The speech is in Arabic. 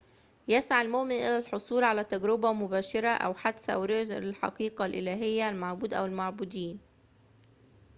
يسعى المؤمن إلى الحصول على تجربة مباشرة، أو حدس، أو رؤية للحقيقة الإلهية/المعبود أو المعبودين